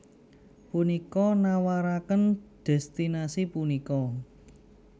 Punika nawaraken destinasi punika